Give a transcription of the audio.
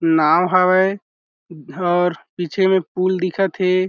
नाव हावय और पीछे में पूल दिखत हे।